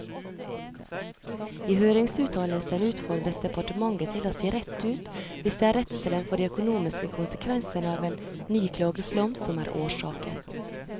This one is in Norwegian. I høringsuttalelsen utfordres departementet til å si rett ut hvis det er redselen for de økonomiske konsekvensene av en ny klageflom som er årsaken.